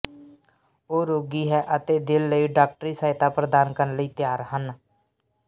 ਉਹ ਰੋਗੀ ਹੈ ਅਤੇ ਦਾਿਲ ਲਈ ਡਾਕਟਰੀ ਸਹਾਇਤਾ ਪ੍ਰਦਾਨ ਕਰਨ ਲਈ ਤਿਆਰ ਹਨ